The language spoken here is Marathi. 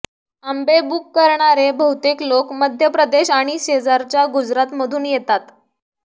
आंबे बुक करणारे बहुतेक लोक मध्य प्रदेश आणि शेजारच्या गुजरातमधून येतात